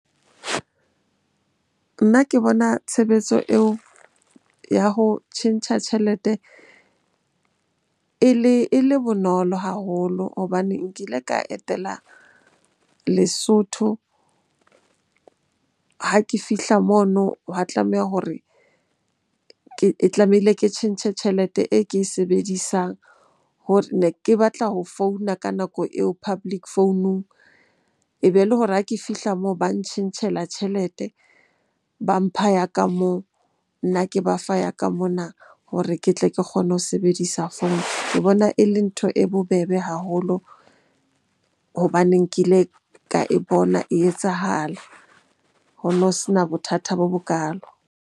Nna ke bona tshebetso eo ya ho tjhentjha tjhelete e le bonolo haholo hobane nkile ka etela Lesotho. Ha ke fihla mono, hwa tlameha hore ke tlamehile ke tjhentjhe tjhelete e ke e sebedisang ne ke batla ho founa ka nako eo public founung. Ebe le hore ha ke fihla moo ba ntjhentjhela tjhelete, ba mpha ya ka moo, nna ke ba fa ya ka mona hore ke tle ke kgone ho sebedisa founu. Ke bona e le ntho e bobebe haholo hobaneng ke ile ka e bona e etsahala, ho no sena bothata bo bokalo.